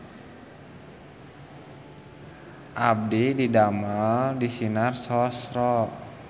Abdi didamel di Sinar Sosro